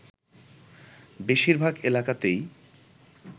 বেশিরভাগ এলাকাতেই